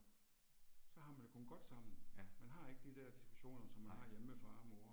Så har man det kun godt sammen. Man har ikke de diskussioner som man har hjemme med mor og far